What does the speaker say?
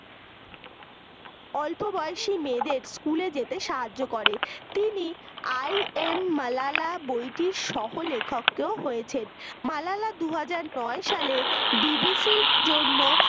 অল্প বয়সী মেয়েদের school এ যেতে সাহায্য করে তিনি i am মালালা বইটির সহলেখক তো হয়েছেন মালালা দুই হাজার নয় সালে BBC র জন্য